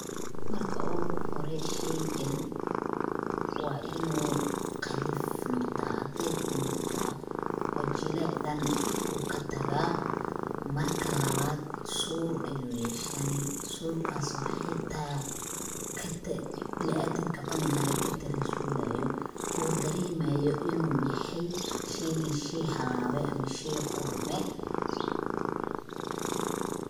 Marka uguhore sheygan waa in uu qalif noqdaa, adeeg uu noqdaa oo jilic dhan uu katagaa. Marka labaad suur ayuu yeeshani suurkas oo hataa bina'aadinka cuni lahaa katanaasulaayo oo dareemaayo in uu yahay sheygan sheey halaaway ama shey qurmay.